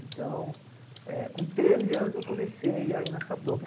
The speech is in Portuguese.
Então, com treze anos, eu comecei a ir nessa toco.